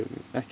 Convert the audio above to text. ekki